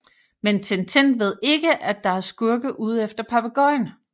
Men Tintin ved ikke at der er skurke ude efter papegøjen